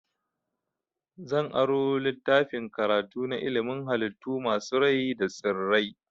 Zan aro littafin karatu na ilimin halittu masu rai da tsirrai.